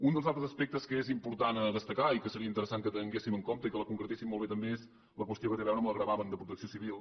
un dels altres aspectes que és important destacar i que seria interessant que tinguéssim en compte i que el concretéssim molt bé també és la qüestió que té a veure amb el gravamen de protecció civil